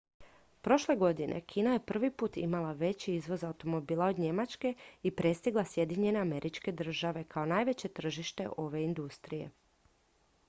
prošle godine kina je prvi put imala veći izvoz automobila od njemačke i prestigla sjedinjene američke države kao najveće tržište ove industrije